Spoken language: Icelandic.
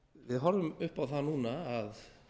við horfum upp á það núna að